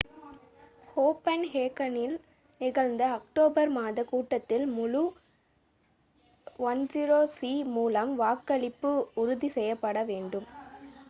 கோபன்ஹேகனில் நிகழ்ந்த அக்டோபர் மாதக் கூட்டத்தில் முழு ioc மூலம் வாக்களிப்பு உறுதி செய்யப்பட வேண்டும்